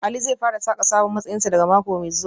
Ali zai fara saka sabon matsayinsa daga mako mai zuwa